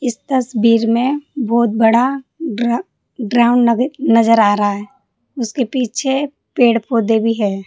इस तस्वीर में बहोत बड़ा ग्रा ग्राउंड नग नजर आ रहा है उसके पीछे पेड़ पौधे भी हैं।